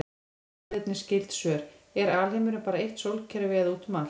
Skoðið einnig skyld svör: Er alheimurinn bara eitt sólkerfi eða út um allt?